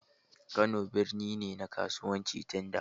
Kano birni ne na kasuwanci tun da.